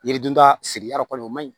Yiri dunta siri yɔrɔ kɔni o man ɲi